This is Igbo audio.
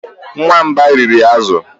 Nwamba riri azụ